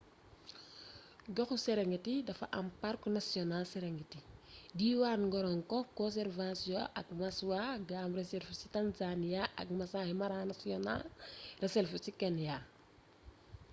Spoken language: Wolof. goxu serengeti dafa am parku national serengeti diwaan ngorongo conservation ak maswa game reserve ci tanzania ak maasai mara national reserve ci kenya